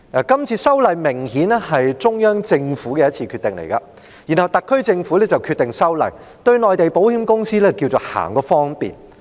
今次修例，明顯是中央政府的決定，然後特區政府便決定修例，對內地保險公司行個方便。